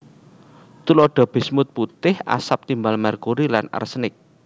Tuladha bismut putih asap timbal merkuri lan arsenik